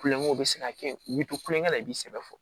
Kulonkɛw bɛ se ka kɛ u bɛ to kulonkɛ la i b'i sɛbɛ fɔ